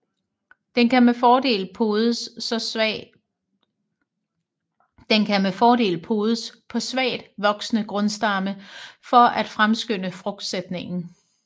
Den kan med fordel podes på svagt voksende grundstamme for at fremskynde frugtsætningen